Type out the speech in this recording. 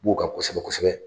B'u ka kosɛbɛ kosɛbɛ